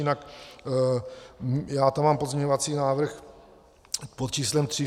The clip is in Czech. Jinak já tam mám pozměňovací návrh po číslem tři.